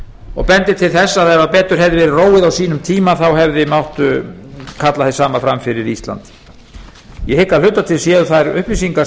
og bendir til þess ef betur hefði verið róið á sínum tíma þá hefði mátt kalla hið sama fram fyrir ísland ég hygg að hluta til séu þær upplýsingar